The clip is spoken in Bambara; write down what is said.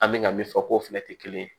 An bɛ ka min fɔ k'o fɛnɛ tɛ kelen ye